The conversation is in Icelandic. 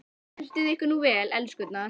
Og skemmtið ykkur nú vel, elskurnar!